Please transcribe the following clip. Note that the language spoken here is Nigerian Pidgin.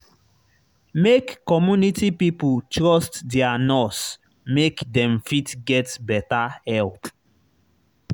make community pipo trust their nurse make dem fit get better help